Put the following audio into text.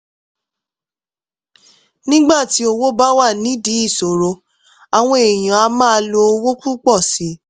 nígbà tí owó bá wà nídìí ìsọ̀rọ̀ àwọn èèyàn á máa lo owó púpọ̀ sí i